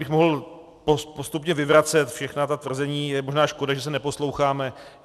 Kdybych mohl postupně vyvracet všechna ta tvrzení, je možná škoda, že se neposloucháme.